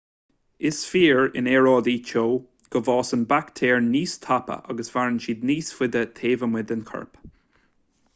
is fíor in aeráidí teo go bhfásann baictéir níos tapa agus maireann siad níos faide taobh amuigh den chorp